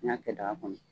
N'i y'a kɛ daga kɔnɔ